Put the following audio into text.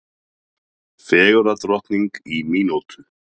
Fegurðardrottning í mínútu